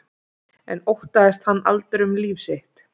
En óttaðist hann aldrei um líf sitt?